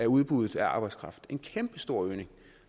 udbuddet af arbejdskraft en kæmpestor og